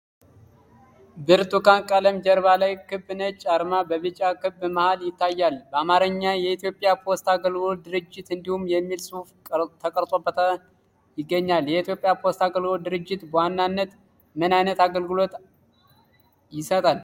ብርቱካን ቀለም ጀርባ ላይ፣ ክብ ነጭ አርማ በቢጫ ክብ መሃል ይታያል፣ በአማርኛ "የኢትዮጵያ ፖስታ አገልግሎት ድርጅት" እንዲሁም የሚል ጽሑፍ ተቀርጾበታል ይገኛል። የኢትዮጵያ ፖስታ አገልግሎት ድርጅት በዋናነት ምን ዓይነት አገልግሎቶችን ይሰጣል?